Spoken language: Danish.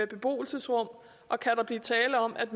beboelsesrum og kan der blive tale om at